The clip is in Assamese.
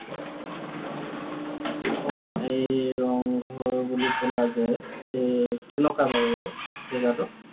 অ, সেই ৰংঘৰ বুলি কলা যে, এই কেনেকুৱা বাৰু এইটো? জেগাটো?